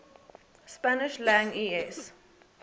spanish lang es